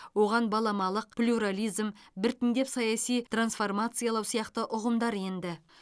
оған баламалық плюрализм біртіндеп саяси трансформациялау сияқты ұғымдар енді